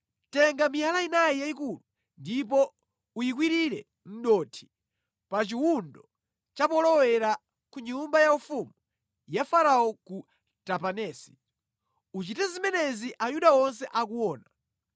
“Tenga miyala inayi yayikulu ndipo uyikwirire mʼdothi pa chiwundo cha polowera ku nyumba yaufumu ya Farao ku Tapanesi. Uchite zimenezi Ayuda onse akuona.